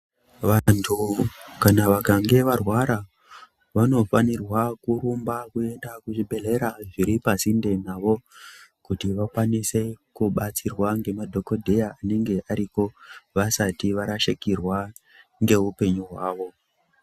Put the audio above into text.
Vantu kana vakange varwara vanofanirwa kurumba kuenda kuzvibhehleya zviri pasinde navo kuti vakwanise kubatsirwa ngemadhokodheya anenge aripo vasati varashikirwa ngeupenyu hwavo.